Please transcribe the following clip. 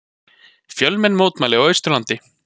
Fjölmenn mótmæli á Austurlandi